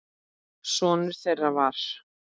Sonur þeirra var